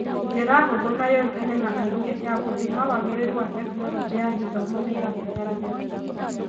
Njĩra hũthũ na yũĩkaine na aingĩ ya gũthima wagĩrĩru wa Tekinoronjĩ ya Gĩthomo nĩirabatarania.